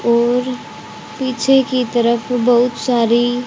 और पीछे की तरफ बहुत सारी--